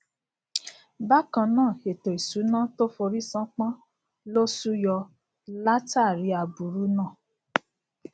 bákan náà ètò ìṣúná tó forí sán pọn lo súyọ látàárí aburú náà